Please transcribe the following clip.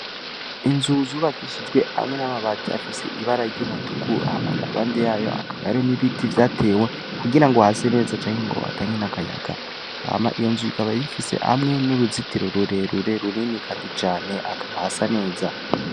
Inzu zubakishijwe hamwe n'amabati afise ibara ry'umutuku, impande yayo hakaba hariho ibiti vyatewe kugira ngo hase neza, canke ngo bitange n'akayaga, hama iyo nzu ikaba ifise n'uruzitiro runini kandi cane, hakaba hasa neza.